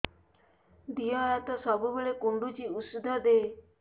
ଦିହ ହାତ ସବୁବେଳେ କୁଣ୍ଡୁଚି ଉଷ୍ଧ ଦେ